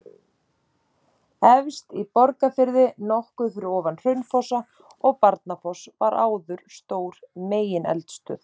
Efst í Borgarfirði, nokkuð fyrir ofan Hraunfossa og Barnafoss var áður stór megineldstöð.